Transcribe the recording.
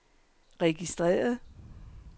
registreret